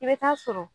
I bɛ taa sɔrɔ